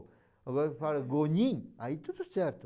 Agora eu falo gonin, aí tudo certo.